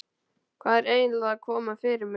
Hvað er eiginlega að koma fyrir mig?